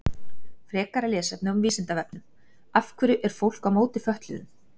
Frekara lesefni á Vísindavefnum Af hverju er fólk á móti fötluðum?